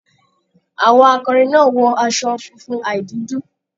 Àwọn akọrin náà wọ aṣọ funfun ài dúdú.